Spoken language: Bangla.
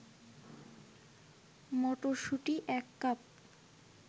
মটরশুঁটি ১ কাপ